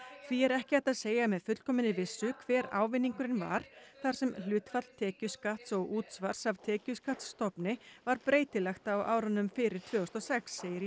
því er ekki hægt að segja með fullkominni vissu hver ávinningurinn var þar sem hlutfall tekjuskatts og útsvars af tekjuskattsstofni var breytilegt á árunum fyrir tvö þúsund og sex segir í